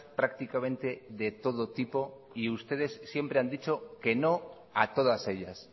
prácticamente de todo tipo y ustedes siempre han dicho que no a todas ellas